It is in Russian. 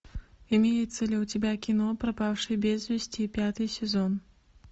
имеется ли у тебя кино пропавшие без вести пятый сезон